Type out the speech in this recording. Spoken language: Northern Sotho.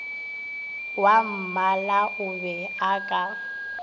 wwammala o be a ka